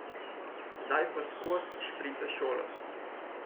Zdaj pa skoz šprica šolo.